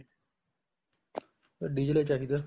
diesel ਹੀ ਚਾਹੀਦਾ